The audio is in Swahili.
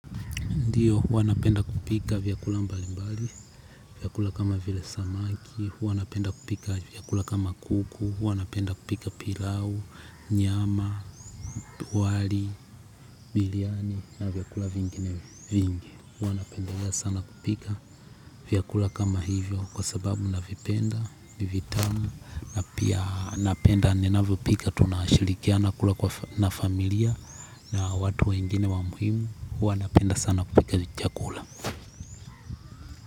Ndiyo, huwa napenda kupika vyakula mbali mbali, vyakula kama vile samaki, huwa napenda kupika vyakula kama kuku, huwa napenda kupika pilau, nyama, wali, biriani na vyakula vingine vingi. Huwa napendelea sana kupika vyakula kama hivyo kwa sababu navipenda ni vitamu na pia napenda ninavyopika tunashirikiana kula kwa familia na watu wengine wa muhimu huwa napenda tu kupika chakula.